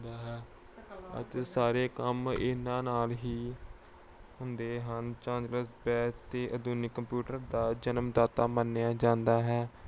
ਹੁੰਦਾ ਹੈ ਅਤੇ ਸਾਰੇ ਕੰਮ ਇਹਨਾਂ ਨਾਲ ਹੀ ਹੁੰਦੇ ਹਨ। ਚਾਰਲਸ ਬੈਬਜ ਨੂੰ ਆਧੁਨਿਕ computer ਦਾ ਜਨਮਦਾਤਾ ਮੰਨਿਆ ਜਾਂਦਾ ਹੈ।